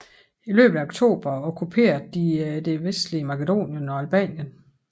I løbet af oktober okkuperede de det vestlige Makedonien og Albanien